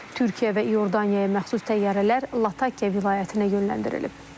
Türkiyə və İordaniyaya məxsus təyyarələr Latakiya vilayətinə yönləndirilib.